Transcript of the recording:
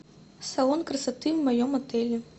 салон красоты в моем отеле